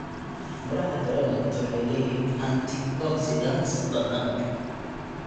Midhaha granate waxay leeyihiin antioxidants badan.